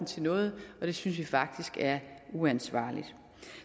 til noget og det synes vi faktisk er uansvarligt